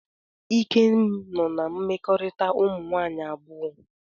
Ikem nọ na mmekorita umunwaanyi abuo.